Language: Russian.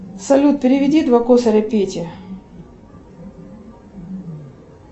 салют переведи два косаря пете